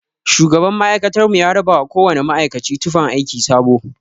Shugaban ma'aikatar mu ya rabawa kowana ma'aikaci tufan aiki sabo.